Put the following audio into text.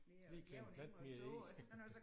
Lige klemme en plante mere i